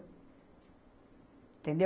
Entendeu?